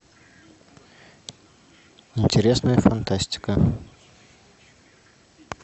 интересная фантастика